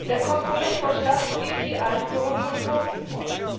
Der Kompromissvorschlag sieht die Einführung von Quoten vor.